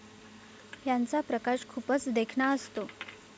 ह्याचा प्रकाश खूपच देखणा असतो.